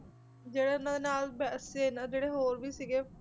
ਜਿਹੜਾ ਇਹਨਾਂ ਦੇ ਨਾਲ ਬ~ ਸੈਨਾ ਜਿਹੜੇ ਹੋਰ ਵੀ ਸੀਗੇ,